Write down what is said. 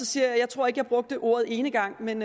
sige at jeg tror ikke jeg brugte ordet enegang men